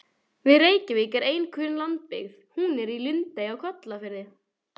Við Reykjavík er ein kunn lundabyggð, hún er í Lundey á Kollafirði.